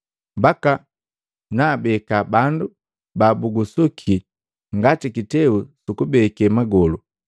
mbaka naabeka bandu babugusuki ngati kiteu sukubeke magolu.’